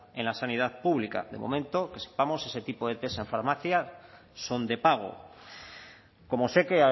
en la sanidad pública de momento que sepamos ese tipo de test en farmacia son de pago como sé que